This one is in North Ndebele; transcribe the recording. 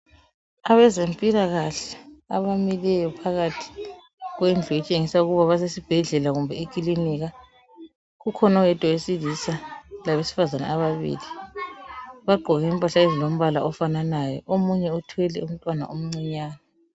Abezempilakahle abamileyo phakathi kwendlu etshengisa ukuba basesibhedlela kumbe ekilinika, kukhona oyedwa owesilisa labesifazana ababili. Bagqoke impahla ezilombala ofananayo omunye uthwele umntwana omncinyane.